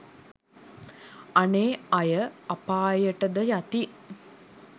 අනේ අය අපායට ද යති.